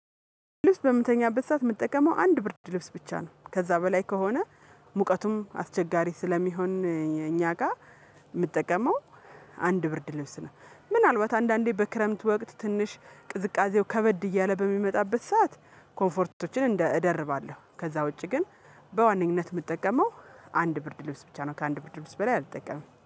ልብስ በምተኛበት ሰዓት የምትጠቀመው አንድ ብርድ ልብስ ብቻ ነው ከዛ በላይ ከሆነ ሙቀቱም አስቸጋሪ ስለሚሆን እኛ ጋር የምጠቀመው አንድ ብርድ ልብስ ነው። ምናልባት አንዳንዴ በክረምት ወቅት ትንሽ ቅዝቃዜው ከበድ እያለ በሚመጣበት ሰዓት ኮንፈርቶችን እንደ እደርባለሁ ከዛ ውጪ ግን በዋነኝነት የምጠቀመው አንድ ብርድ ልብስ ብቻ ነው። ከአንድ ብርድ ልብስ በላይ አልጠቀምም